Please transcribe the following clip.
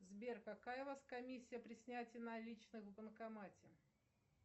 сбер какая у вас комиссия при снятии наличных в банкомате